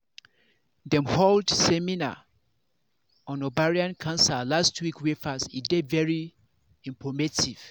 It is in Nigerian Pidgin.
dem hold seminar on ovarian cancer last week wey pass e dey very informative